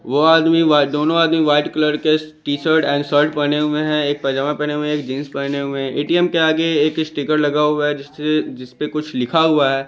वो आदमी व्हाई दोनों आदमी व्हाइट कलर के टी शर्ट एंड शर्ट पहने हुए हैं एक पजामा पहने हुए हैं एक जींस पहने हुए ए_टी_एम के आगे एक स्टीकर लगा हुआ है जिसे जिसपे कुछ लिखा हुआ है।